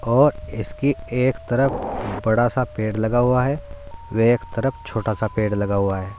और इसकी एक तरफ बड़ा सा पेड़ लगा हुआ है और एक तरफ छोटा सा पेड़ लगा हुआ है।